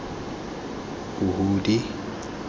huhudi